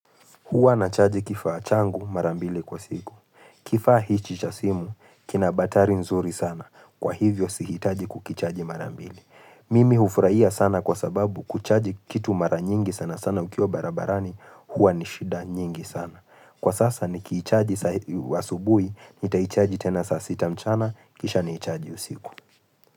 Hua nachaji kifaa changu mara mbili kwa siku. Kifaa hichi cha simu, kina batari nzuri sana. Kwa hivyo sihitaji kukichaji mara mbili. Mimi hufurahia sana kwa sababu kuchaji kitu mara nyingi sana sana ukiwa barabarani. Hua ni shida nyingi sana. Kwa sasa ni kiichaji wa subuhi, nitaichaji tena sasita mchana, kisha niichaji usiku.